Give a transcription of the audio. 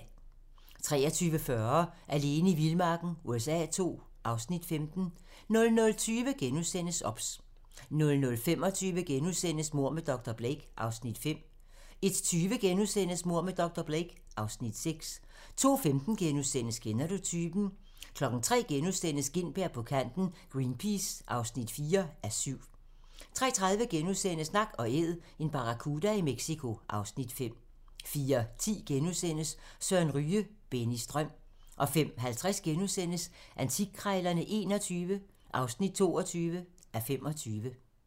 23:40: Alene i vildmarken USA II (Afs. 15) 00:20: OBS * 00:25: Mord med dr. Blake (Afs. 5)* 01:20: Mord med dr. Blake (Afs. 6)* 02:15: Kender du typen? * 03:00: Gintberg på kanten – Greenpeace (4:7)* 03:30: Nak & Æd - en barracuda i Mexico (Afs. 5)* 04:10: Søren Ryge - Bennys drøm * 05:50: Antikkrejlerne XXI (22:25)*